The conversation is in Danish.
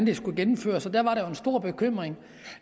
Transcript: de skulle gennemføres dengang var der en stor bekymring